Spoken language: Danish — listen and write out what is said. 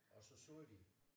Og så sagde de